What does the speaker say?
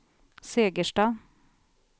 Segersta